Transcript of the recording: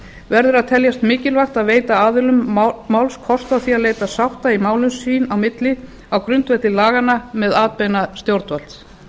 verður að teljast mikilvægt að veita aðilum máls kost á því að leita sátta í málum sín á milli á grundvelli laganna með atbeina stjórnvalds